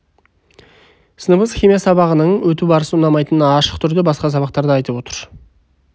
сыныбыңыз химия сабағының өту барысы ұнамайтынын ашық түрде басқа сабақтарда айтып отыр